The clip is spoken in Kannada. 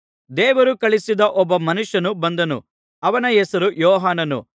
ದೇವರು ಕಳುಹಿಸಿದ ಒಬ್ಬ ಮನುಷ್ಯನು ಬಂದನು ಅವನ ಹೆಸರು ಯೋಹಾನನು